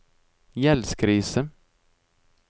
gjeldskrise